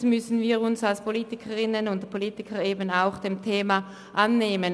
Somit müssen wir uns als Politikerinnen und Politiker auch des Themas annehmen.